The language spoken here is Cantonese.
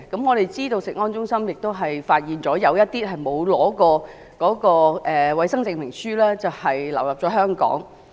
我們知道食物安全中心發現了一些沒有獲得衞生證明書的食物流入香港。